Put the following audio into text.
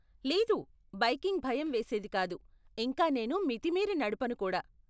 లేదు, బైకింగ్ భయం వేసేది కాదు, ఇంకా నేను మితిమీరి నడపను కూడా.